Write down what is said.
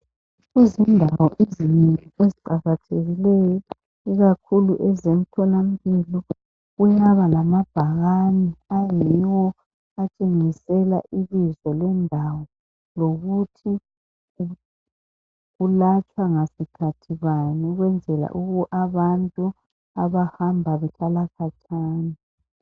Izindawo ezinengi eziqakathekileyo ikakhulu ezemthola mpilo, kuyaba lamabhakane ayiwo atshengisela ibizo lendawo lokuthi kulatshwa ngasikhathi bani ukwenzela abantu abahamba behlala khatshana.